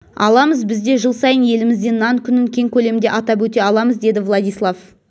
аламыз біз де жыл сайын елімізде нан күнін кең көлемде атап өте аламыз деді владислав